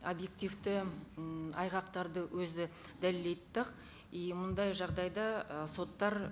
объективті м айғақтарды өзі и мындай жағдайда ы соттар